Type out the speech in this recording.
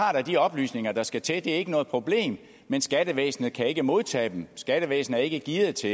har da de oplysninger der skal til det er ikke noget problem men skattevæsenet kan ikke modtage dem skattevæsenet er ikke gearet til